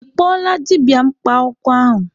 Ị kpọọla dibịa mkpa akwụkwọ ahụ?